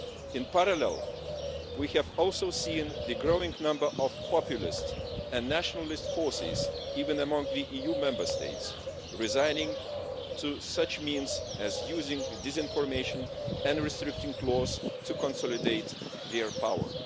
In parallel, we have also seen the growing number of populist and nationalist forces, even among the EU Member States who resort to means such as using disinformation and restricting clauses to consolidate their power.